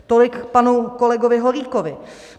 Tolik k panu kolegovi Holíkovi.